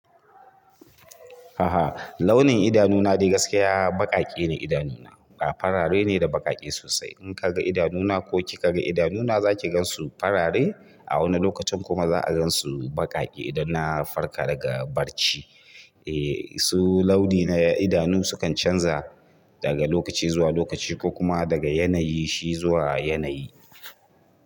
A'a launin idanu na dai gaskiya baƙaƙe ne idanu na farare ne da baƙaƙe sosai. In kaga idanu na ko kika ga idanu na za ki gansu farare a wani lokacin kuma za a gansu baƙaƙe idan na farka daga barci. Eh su launi na idanu sukan canza daga lokaci zuwa lokaci ko kuma daga yanayi shi zuwa yanayi.